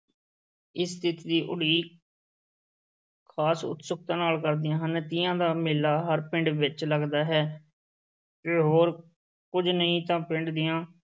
ਇਸ ਤਿੱਥ ਦੀ ਉਡੀਕ ਖ਼ਾਸ ਉਤਸੁਕਤਾ ਨਾਲ ਕਰਦੀਆਂ ਹਨ, ਤੀਆਂ ਦਾ ਮੇਲਾ ਹਰ ਪਿੰਡ ਵਿੱਚ ਲੱਗਦਾ ਹੈ, ਜੇ ਹੋਰ ਕੁੱਝ ਨਹੀਂ ਤਾਂ ਪਿੰਡ ਦੀਆਂ